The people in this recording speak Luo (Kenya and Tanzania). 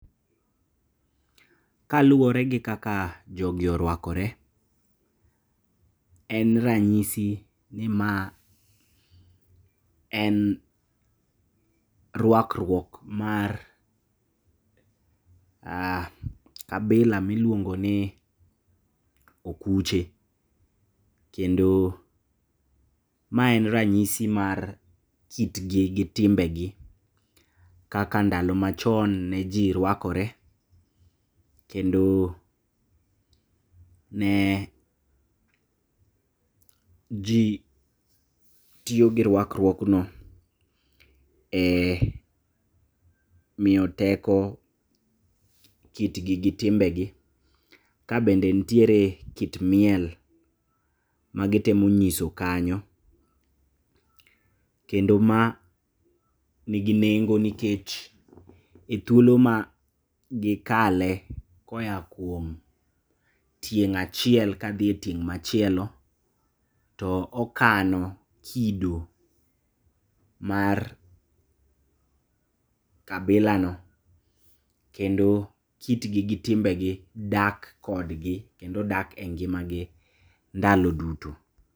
Kaluore gi kaka jogi oruakore, en ranyisi ni ma en ruakruok mar kabila miluongoni okuche, kendo maen ranyis mar kitgi gi timbegi kaka ndalo machon neji ruakore kendo ne jii tiyogi ruakruokno e miyo tek kitgi gi timbegi. Kabende ntiere kit miel magitemo nyiso kanyo, kendo ma nigi nengo nikech e thuolo magikale koya kuom tieng' achiel kadhie ting' machielo to okano kido mar kabilano, kendo kitgi gi timbegi dak kodgi kendo dak e ngimagi ndalo duto.